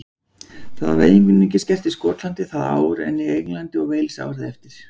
Það var einungis gert í Skotlandi það ár en í Englandi og Wales árið eftir.